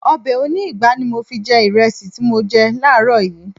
Ọbẹ̀ oní ìgbá ni mo fi jẹ ìrẹsì tí mo jẹ láàrọ̀ yìí